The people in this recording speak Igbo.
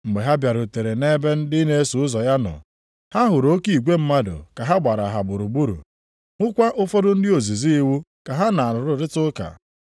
Mgbe ha bịarutere nʼebe ndị na-eso ụzọ ya nọ, ha hụrụ oke igwe mmadụ ka ha gbara ha gburugburu, hụkwa ụfọdụ ndị ozizi iwu ka ha na ha na-arụrịta ụka.